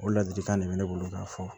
O ladilikan de bɛ ne bolo k'a fɔ